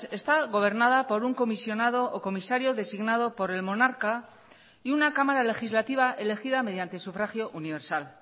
está gobernada por un comisionado o comisario designado por el monarca y una cámara legislativa elegida mediante sufragio universal